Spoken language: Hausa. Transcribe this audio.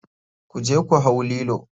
Kuje ku hau lilo.